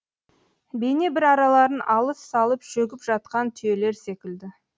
бейне бір араларын алыс салып шөгіп жатқан түйелер секілді